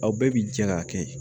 Aw bɛɛ bi jɛ k'a kɛ